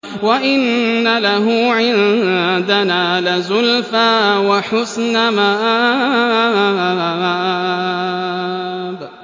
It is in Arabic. وَإِنَّ لَهُ عِندَنَا لَزُلْفَىٰ وَحُسْنَ مَآبٍ